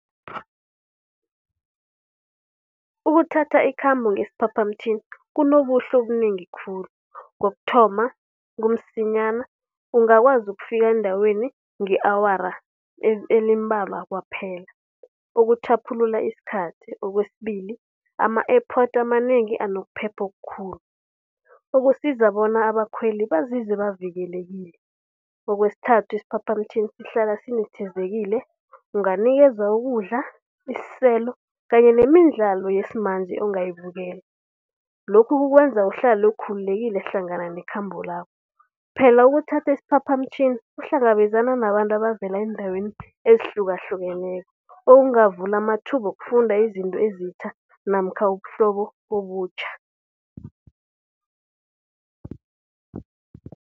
Ukuthatha ikhambo ngesiphaphamtjhini kunobuhle obunengi khulu. Kokuthoma, kumsinyana ungakwazi ukufika endaweni nge-awara elimbalwa kwaphela ukutjhaphulula isikhathi. Kwesibili, ama-airport amanengi anokuphepha okukhulu, ukusiza bona abakhweli bazizwe bavikelekile. Kwesithathu, isiphaphamtjhini sihlala sinethezekile. Unganikezwa ukudla, isiselo kanye nemidlalo yesimanje ongayibukela. Lokhu kukwenza uhlale ukhululekileko hlangana nekhamba lakho. Phela ukuthatha isiphaphamtjhini uhlangabezana nabantu abavela eendaweni ezihlukahlukeneko, okungavula amathuba wokufunda izinto ezitjha namkha ubuhlobo obutjha.